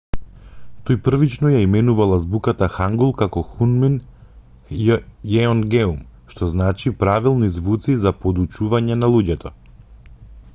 тој првично ја именувал азбуката хангул како хунмин јеонгеум што значи правилни звуци за подучување на луѓето